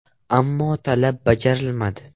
Ammo talab bajarilmadi.